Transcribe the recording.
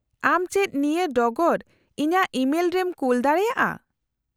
-ᱟᱢ ᱪᱮᱫ ᱱᱤᱭᱟᱹ ᱰᱚᱜᱚᱨ ᱤᱧᱟᱹᱜ ᱤᱢᱮᱞ ᱨᱮᱢ ᱠᱩᱞ ᱫᱟᱲᱮᱭᱟᱜᱼᱟ ?